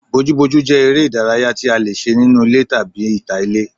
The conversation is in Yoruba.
Bojúbojú jẹ́ eré ìdárayá tí a lè ṣe nínú ilé tàbí ní ìta ilé